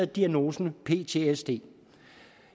diagnosen ptsd